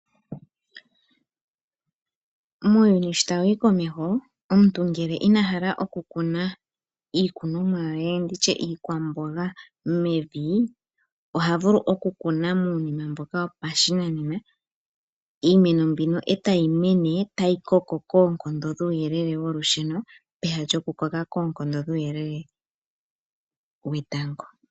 Muuyuuni sho tawu yi komeho omuntu ngele ina hala okukuna iikunomwa ye ndi tye iikwamboga mevi oha vulu okukuna muunima mboka wopashinanena. Iimeno mbino e tayi mene tayi koko koonkondo dhuuyelele wolusheno peha lyokukoka koonkondo dhuuyelele wetango.